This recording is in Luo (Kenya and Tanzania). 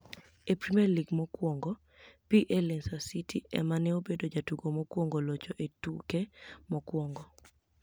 E premier league mokwonigo PA Leicester city ema ni e obedo jotugo mokwonigo locho e tuke mokwonigo .